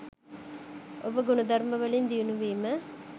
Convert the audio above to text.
ඔබ ගුණධර්ම වලින් දියුණු වීම.